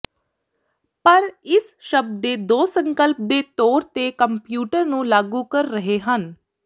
ਪਰ ਇਸ ਸ਼ਬਦ ਦੇ ਦੋ ਸੰਕਲਪ ਦੇ ਤੌਰ ਤੇ ਕੰਪਿਊਟਰ ਨੂੰ ਲਾਗੂ ਕਰ ਰਹੇ ਹਨ